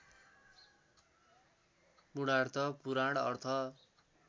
पूर्णात पुराण अर्थ